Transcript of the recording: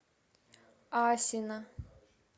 асино